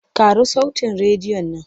Ƙaro sautin rediyon nan!